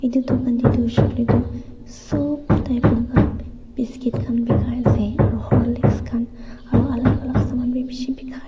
etya dukaan tey toh hoishe koilatoh sob type laga biscuit khan bakai asey aro horlicks khan aro alak alak saman bhi beshi bakai--